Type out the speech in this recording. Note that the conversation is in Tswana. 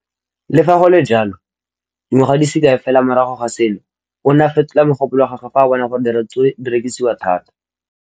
Le fa go le jalo, dingwaga di se kae fela morago ga seno, o ne a fetola mogopolo wa gagwe fa a bona gore diratsuru di rekisiwa thata.